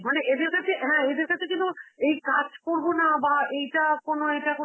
মানে এদের কাছে, হ্যাঁ এদের কাছে যেন এই কাজ করবো না বা এটা কোন এটা কোন